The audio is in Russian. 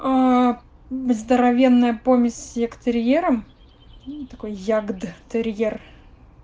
аа здоровенная помесь с ягдтерьером такой ягдтерьер